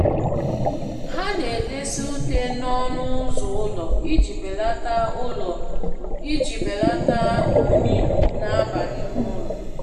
Ha na-edesa ute n'ọnụ uzọ ụlọ iji belata ụlọ iji belata unyi na-aba n'ime ụlọ.